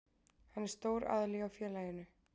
Hann er stór aðili hjá félaginu.